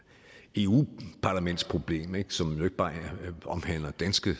eu parlamentsproblem som jo ikke bare omhandler danske